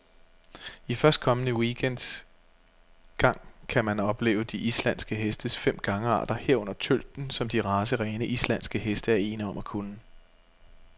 I førstkommende weekend gang kan man opleve de islandske hestes fem gangarter, herunder tølten, som de racerene, islandske heste er ene om at kunne.